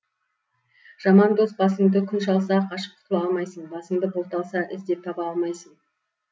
жаман дос басыңды күн шалса қашып құтыла алмайсың басыңды бұлт алса іздеп таба алмайсың